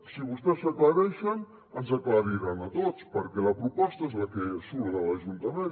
si vostès s’aclareixen ens aclariran a tots perquè la proposta és la que surt de l’ajuntament